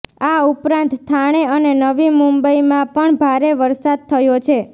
આ ઉપરાંત થાણે અને નવી મુંબઈમાં પણ ભારે વરસાદ થયો છે